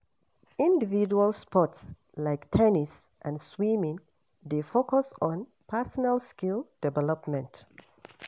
Individual sports like ten nis and swimming dey focus on personal skill development.